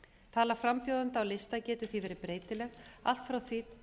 tala frambjóðenda á lista getur því verið breytileg allt frá því